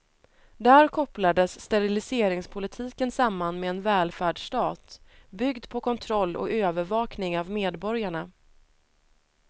Där kopplades steriliseringspolitiken samman med en välfärdsstat, byggd på kontroll och övervakning av medborgarna.